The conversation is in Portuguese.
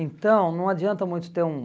Então, não adianta muito ter um